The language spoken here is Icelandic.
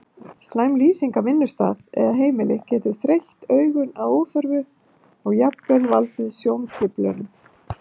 Slæm lýsing á vinnustað eða heimili getur þreytt augun að óþörfu og jafnvel valdið sjóntruflunum.